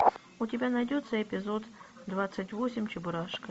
у тебя найдется эпизод двадцать восемь чебурашка